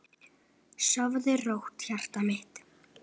Sofðu rótt, hjartað mitt.